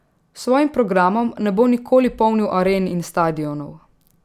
S svojim programom ne bo nikoli polnil aren in stadionov.